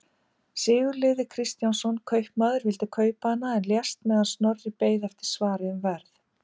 Sigurliði Kristjánsson kaupmaður vildi kaupa hana en lést meðan Snorri beið eftir svari um verð.